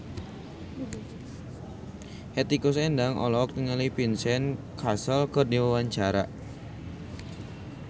Hetty Koes Endang olohok ningali Vincent Cassel keur diwawancara